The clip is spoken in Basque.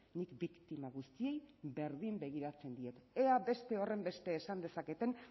nik biktima guztiei berdin begiratzen diet ea beste horrenbeste esan dezaketen